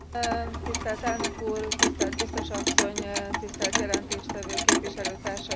Tisztelt elnök úr, tisztelt biztos asszony, tisztelt jelentéstevő képviselőtársaim!